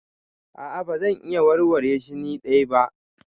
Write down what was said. A'a ba zan iya warware shi ni dai ba.